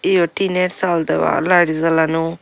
এও টিনের চাল দাওয়া লাইট জ্বালানো।